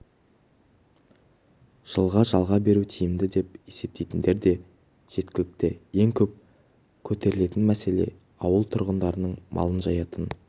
жылға жалға беру тиімді деп есептейтіндер де жеткілікті ең көп көтерілетін мәселе ауыл тұрғындарының малын жаятын